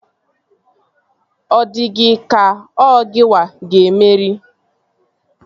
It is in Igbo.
Ọ dị gị ka ọ gịnwa ga-emeri?